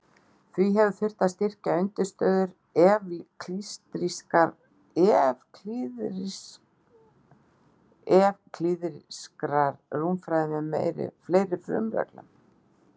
Því hefur þurft að styrkja undirstöður evklíðskrar rúmfræði með fleiri frumreglum.